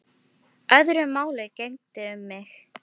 Öðru máli gegndi um mig.